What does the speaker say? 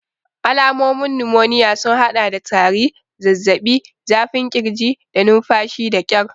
Alamomin numoniya sun haɗa da tari, zazzaɓi, zafin ƙirji, da numfashi da ƙyar.